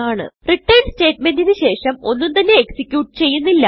return സ്റ്റേറ്റ്മെന്റിന് ശേഷം ഒന്നുംതന്നെ എക്സിക്യൂട്ട് ചെയ്യുന്നില്ല